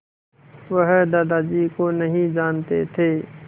वह दादाजी को नहीं जानते थे